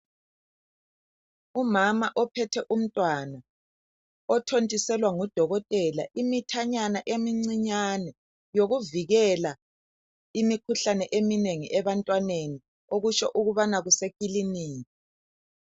Umama ophethe umntwana othontiselwa ngudokotela imithanyana emincinyane yokuvikela imikhuhlane eminengi ebantwaneni okutsho ukubana kusekikinika.